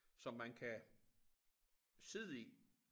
Som man kan sidde i